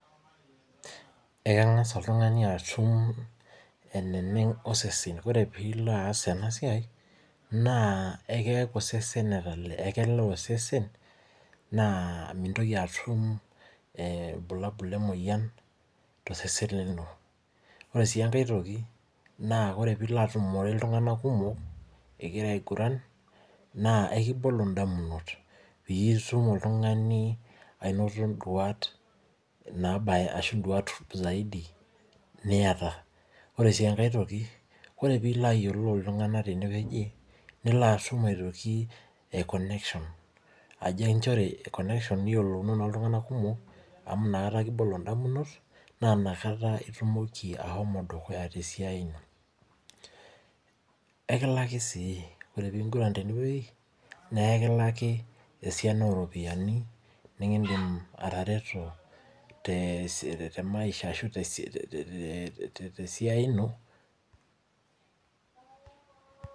Ekengas oltungani atum eneneng osesen. Ore pee ilo aas ena siai, naa ekeaku osesen etalee. Naa mintoki atum irbulabul le moyian tosesen lino. Ore sii enkae toki, naa ore peyie ilo atumore iltunganak kumok ingirra aigurran, naa ekibolo ndamunot piitum oltungani anot nduat saidi niata. Ore peyie ilo ayiolou iltunganak tene wueji nilo atum aikoneksion ajo niyiolounono oltungani kumok nikibolo ndamunot naa nakata itumoki ashomo dukuya tesiai ino. Ekilaki sii. Ore pee engurran tene wueji naa ekilaki esiana oropiyiani nikindim atareto temaisha ashu tesiai ino